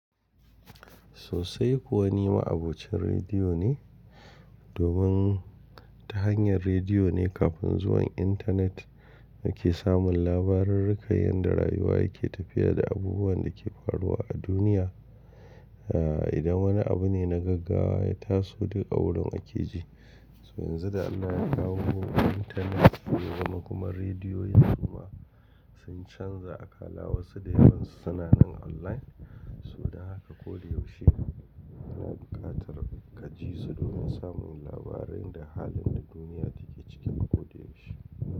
Sosai kuwa ni ma abokin rediyo ne, domin ta hanyar rediyo ne kafin zuwan intanet nake samun labarurruka yadda rayuwa yake tafiya da abubuwan da ke faruwa a duniya. A idan wani abu ne na gaggawa ya taso duk a wurin ake ji. So yanzu da Allah ya kawo mu intanet, shigowa kuma radiyoyin kuma sun canza akala wasu da yawan su suna online. So da haka ko da yaushe yana buƙatar ka ji su domin samun labarai da halin da duniya take ciki ko da yaushe.